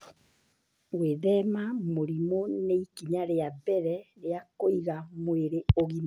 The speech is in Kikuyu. Gwĩthema mũrimũ nĩ ikinya rĩa mbere rĩa kũiga mwĩrĩ ũgima.